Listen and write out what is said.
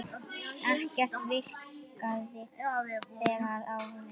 Ekkert virkaði þegar á leið.